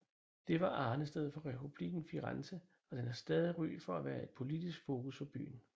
Det var arnestedet for Republikken Firenze og den har stadig ry for at være et politisk fokus for byen